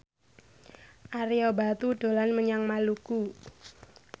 Ario Batu dolan menyang Maluku